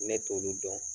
Ne t'olu dɔn